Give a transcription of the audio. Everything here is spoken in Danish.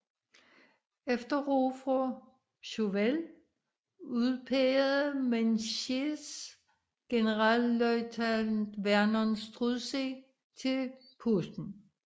Efter råd fra Chauvel udpegede Menzies generalløjtnant Vernon Sturdee til posten